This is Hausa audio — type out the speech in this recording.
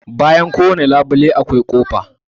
Bayan kowane labule akwai kofa.